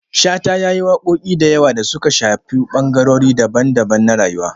Shata ya yi waƙoƙi da yawa da suka shafi ɓangarori daban-daban na rayuwa.